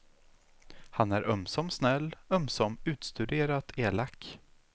Han är ömsom snäll, ömsom utstuderat elak.